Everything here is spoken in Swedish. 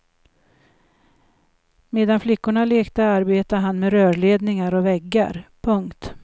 Medan flickorna lekte arbetade han med rörledningar och väggar. punkt